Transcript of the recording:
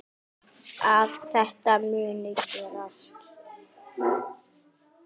Að þetta mundi gerast.